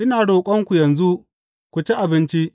Ina roƙonku yanzu ku ci abinci.